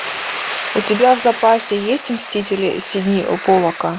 у тебя в запасе есть мстители сидни поллака